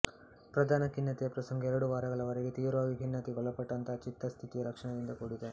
ಪ್ರಧಾನ ಖಿನ್ನತೆಯ ಪ್ರಸಂಗವು ಎರಡು ವಾರಗಳ ವರೆಗೆ ತೀವ್ರವಾಗಿ ಖಿನ್ನತೆಗೆ ಒಳಪಟ್ಟಂತಹ ಚಿತ್ತ ಸ್ಥಿತಿಯ ಲಕ್ಷಣದಿಂದ ಕೂಡಿದೆ